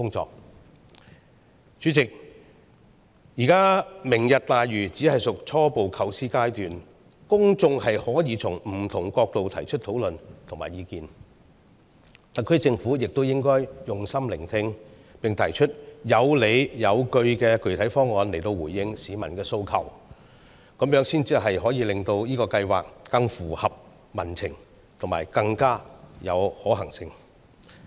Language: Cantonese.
代理主席，現時"明日大嶼"只屬初步構思階段，公眾可以從不同角度討論和提出意見，特區政府也應該用心聆聽，並提出有理有據的具體方案來回應市民的訴求，這樣才可以使這個計劃更合乎民情和更有可行性。